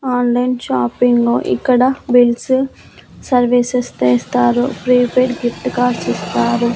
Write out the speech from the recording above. Online shopping ఇక్కడ bills services చేస్తారు prepaid gift cards ఇస్తారు.